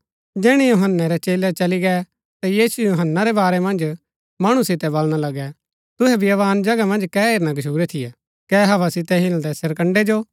जैहणै यूहन्‍नै रै चेलै चली गै ता यीशु यूहन्‍नै रै बारै मन्ज मणु सितै बलणा लगा तुहै बियावान जगह मन्ज कै हेरना गच्छुरै थियै कै हवा सितै हिलदै सरकण्ड़ैं जो